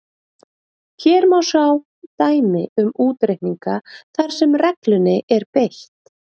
Hér má svo sjá dæmi um útreikninga þar sem reglunni er beitt: